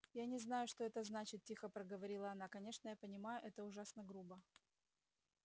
я не знаю что это значит тихо проговорила она конечно я понимаю это ужасно грубо